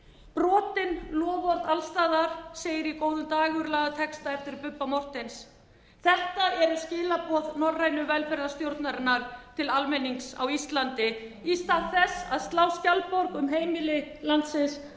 brotin loforð alls staðar segir í góðum dægurlagatexta eftir bubba morthens þetta eru skilaboð norrænu velferðarstjórnarinnar til almennings á íslandi stað þess að slá skjaldborg um heimili landsins